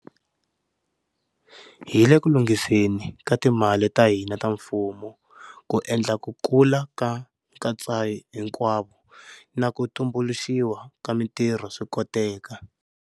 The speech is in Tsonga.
Hi le ku lunghiseni ka timali ta hina ta mfumo ku endla ku kula ka nkatsahinkwavo na ku tumbuluxiwa ka mitirho swi koteka.